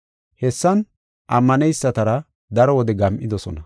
Hessan ammaneysatara daro wode gam7idosona.